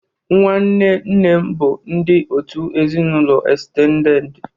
Nwanne nne m bụ ndị òtù ezinụlọ estendedị.